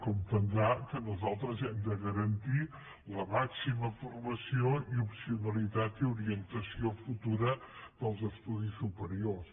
comprendrà que nosaltres hem de garantir la màxima formació i opcionalitat i orientació futura dels estudis superiors